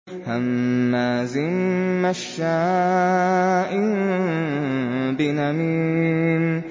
هَمَّازٍ مَّشَّاءٍ بِنَمِيمٍ